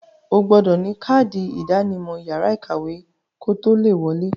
O gbọdọ̀ ní kádì ìdánimọ̀ yàrá ìkàwé kotó le wọ̀ọ.